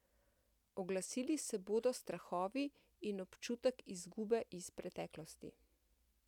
Oglasili se bodo strahovi in občutek izgube iz preteklosti.